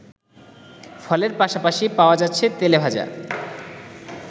ফলের পাশাপাশি পাওয়া যাচ্ছে তেলে ভাজা